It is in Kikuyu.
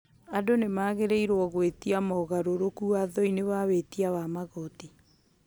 andũ nĩ magĩrĩirwo hũĩtia magaeũrũku wathoinĩ wa wĩtia wa magoti